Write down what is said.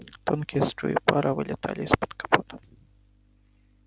тонкие струи пара вылетали из-под капота